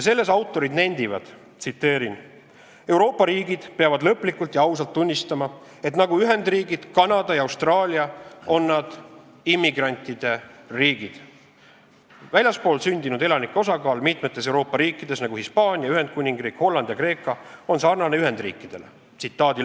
Selles autorid nendivad, et Euroopa riigid peavad lõplikult ja ausalt tunnistama, et nagu Ühendriigid, Kanada ja Austraalia, on nad immigrantide riigid ning väljaspool sündinud elanike osakaal mitmes Euroopa riigis, nagu Hispaanias, Ühendkuningriigis, Hollandis ja Kreekas, on sarnane nende osakaaluga Ühendriikides.